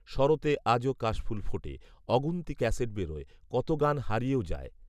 শরতে আজও কাশফুল ফোটে। অগুন্তি ক্যাসেট বেরোয়। কত গান হারিয়েও যায়